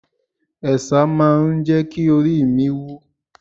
Ẹ̀sà máa ń jẹ́ kí oríi mi wú.